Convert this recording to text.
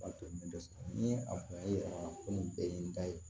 ni a kun y'a yira ko nin bɛɛ ye n da ye